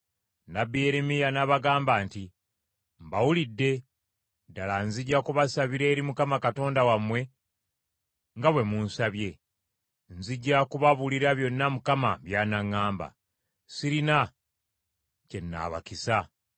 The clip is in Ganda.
Nnabbi Yeremiya n’abagamba nti, “Mbawulidde, ddala nzija kubasabira eri Mukama Katonda wammwe nga bwe munsabye; nzija kubabuulira byonna Mukama by’anaŋŋamba, sirina kye nnaabakisa.”